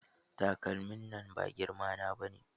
Takalmin nan ba girma na bane